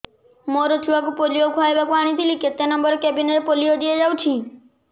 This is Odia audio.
ମୋର ଛୁଆକୁ ପୋଲିଓ ଖୁଆଇବାକୁ ଆଣିଥିଲି କେତେ ନମ୍ବର କେବିନ ରେ ପୋଲିଓ ଦିଆଯାଉଛି